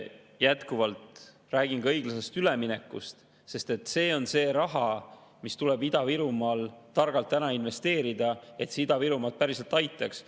Jätkuvalt räägin ka õiglase ülemineku rahast, sest see tuleb Ida-Virumaal targalt ära investeerida, et see Ida-Virumaad päriselt aitaks.